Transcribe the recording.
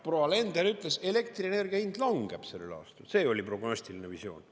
Proua Alender ütles, et elektrienergia hind langeb sellel aastal, see oli prognostiline visioon.